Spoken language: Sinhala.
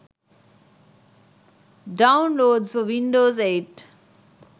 downloads for windows 8